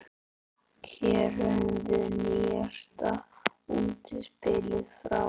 Hér höfum við nýjasta útspilið frá